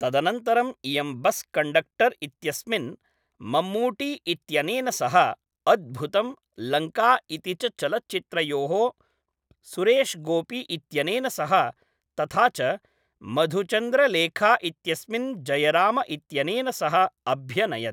तदनन्तरम् इयं bus conductor इत्यस्मिन् ममूट्टी इत्यनेन सह, अद्भुतम्, लङ्का इति च चलच्चित्रयोः सुरेशगोपी इत्यनेन सह तथा च मधुचन्द्रलेखा इत्यस्मिन् जयराम इत्यनेन सह अभ्यनयत्।